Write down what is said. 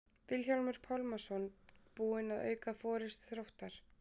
Vilhjálmur Pálmason búinn að auka forystu Þróttar.